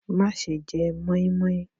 Má ṣe jẹ moinmoin.